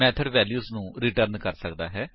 method value ਨੂੰ return ਕਰ ਸਕਦਾ ਹੈ